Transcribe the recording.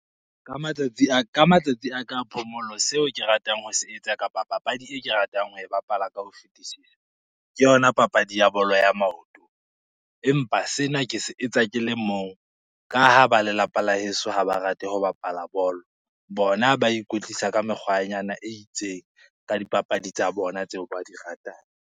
Ka matsatsi a ka phomolo seo ke ratang ho se etsa kapa papadi e ke ratang ho e bapala ka ho fetisisa ke yona papadi ya bolo ya maoto. Empa sena ke se etsa ke le mong ka ha ba lelapa la heso ha ba rate ho bapala bolo, bona ba ikwetlisa ka mekgwanyana e itseng ka dipapadi tsa bona, tseo ba di ratang.